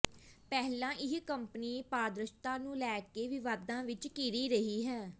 ਪਹਿਲਾਂ ਇਹ ਕੰਪਨੀ ਪਾਰਦਰਸ਼ਤਾ ਨੂੰ ਲੈ ਕੇ ਵਿਵਾਦਾਂ ਵਿੱਚ ਘਿਰੀ ਰਹੀ ਹੈ